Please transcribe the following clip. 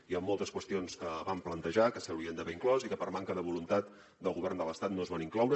hi han moltes qüestions que vam plantejar que s’hi haurien d’haver inclòs i que per manca de voluntat del govern de l’estat no s’hi van incloure